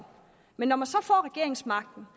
men når man så får regeringsmagten